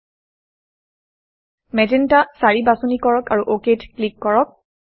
magenta 4 magenta 4 বাছনি কৰক আৰু OKত ক্লিক কৰক